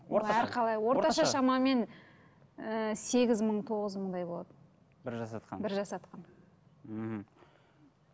орта шамамен ы сегіз мың тоғыз мыңдай болады бір жасатқаны бір жасатқаны мхм